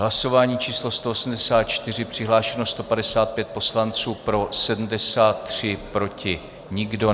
Hlasování číslo 184, přihlášeno 155 poslanců, pro 73, proti nikdo.